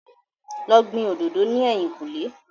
Lọ gbin òdòdó ní èyìn kù lé